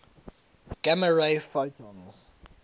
gamma ray photons